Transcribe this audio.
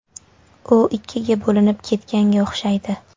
U ikkiga bo‘linib ketganga o‘xshaydi.